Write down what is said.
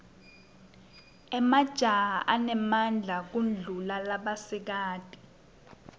emajaha anemadla kudulla labasikati